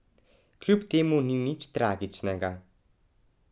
Kljub temu ni nič tragičnega.